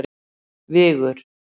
Vigur